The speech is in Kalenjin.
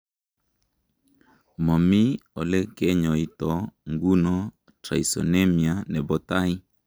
Momii ole kenyoito nguno Tyrosinemia nebo tai.